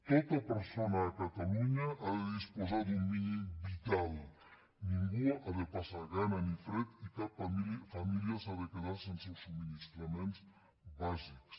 tota persona a catalunya ha de disposar d’un mínim vital ningú ha de passar gana ni fred i cap família s’ha de quedar sense els subministraments bàsics